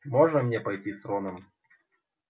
можно мне пойти с роном